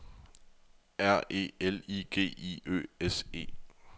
R E L I G I Ø S E